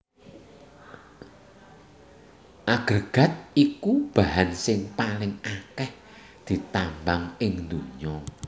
Agrégat iku bahan sing paling akèh ditambang ing donya